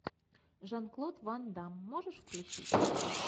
жан клод ван дамм можешь включить